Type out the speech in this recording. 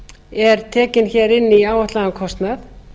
er tekin hér inn í áætlaðan kostnað